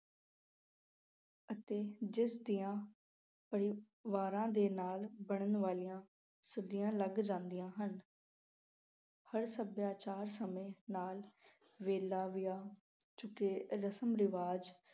ਅਤੇ ਜਿਸ ਦੀਆਂ ਪਰਿਵਾਰਾਂ ਅਹ ਦੇ ਨਾਲ ਬਣਨ ਵਾਲੀਆਂ ਸਦੀਆਂ ਲੰਘ ਜਾਂਦੀਆਂ ਹਨ ਪਰ ਸੱਭਿਆਚਾਰ ਸਮੇਂ ਨਾਲ ਵੇਲਾ ਵਿਆ ਚੁੱਕੇ ਰਸਮ ਰਿਵਾਜ ਅਤੇ